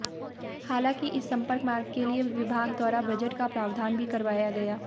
हालांकि इस संपर्क मार्ग के लिए विभाग द्वारा बजट का प्रावधान भी करवाया गया